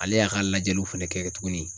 Ale y'a ka lajɛliw fɛnɛ kɛ tuguni